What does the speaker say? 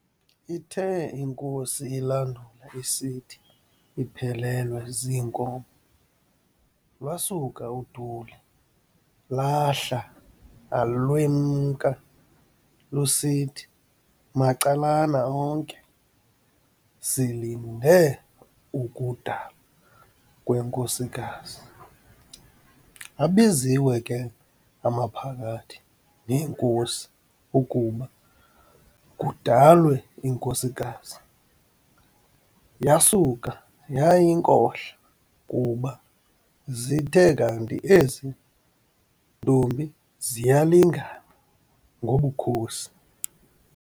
ithe inkosi ilandula isithi iphelelwe ziinkomo, lwasuka uduli lahla alwemka, lusithi, macalana onke, "Silinde ukudalwa kwenkosikazi. Abiziwe ke amaphakathi neenkosi ukuba kudalwe inkosikazi, yasuka yayinkohla kuba zithe kanti ezi ntombi ziyalingana ngobukhosi.